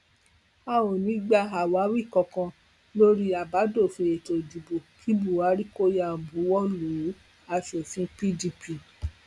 a ò ní í gba àwáwí kankan lórí àbádòfin ètò ìdìbò kí buhari kó yáa buwọ lù úaṣòfin pdp